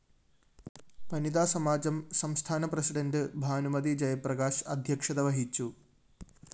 വനിത സമാജം സംസ്ഥാന പ്രസിഡന്റ് ഭാനുമതി ജയപ്രകാശ് അധ്യക്ഷത വഹിച്ചു